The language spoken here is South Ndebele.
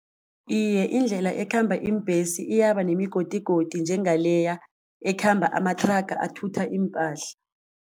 Iye, indlela ekhamba iimbhesi iyaba nemigodigodi njengaleya ekhamba amathraga athutha iimpahla.